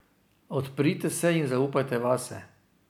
Odprite se in zaupajte vase.